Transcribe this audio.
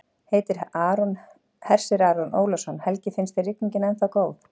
Hersir Aron Ólafsson: Helgi, finnst þér rigningin ennþá góð?